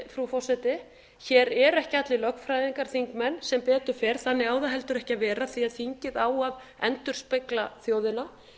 frú forseti að hér eru ekki allir þingmenn lögfræðingar sem betur fer þannig á það heldur ekki að vera því að þingið á að endurspegla þjóðina